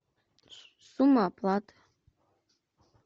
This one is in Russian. сумма оплаты